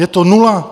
Je to nula.